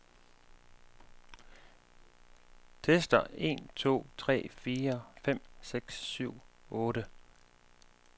Tester en to tre fire fem seks syv otte.